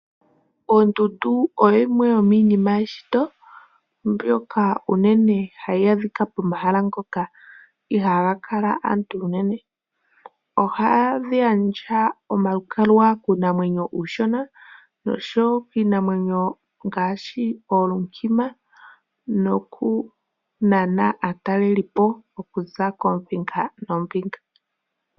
Ondundu oyo yimwe yoominima yeshito mbyoka unene hayi adhika pomahala ngoka ihaaga kala aantu unene. Ohadhi gandja omalukalwa kuunamwenyo uushona nosho wo kiinamwenyo ngaashi oondjima nokunana aatalelipo okuza koombinga noombinga.